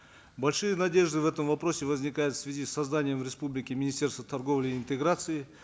большие надежды в этом вопросе возникают в связи с созданием в республике министерства торговли и интеграции